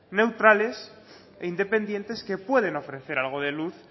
neutrales e independientes que pueden ofrecer algo de luz